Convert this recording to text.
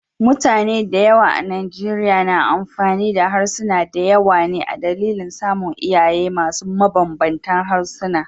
Mutane da yawa a Nigeria na amfani da harsuna da yawa ne a dalilin samun iyaye masu mabanbanta harsuna.